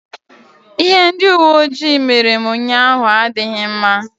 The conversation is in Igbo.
Ihe ndị uwe ojii mere m ụnyaahụ adịghị mma.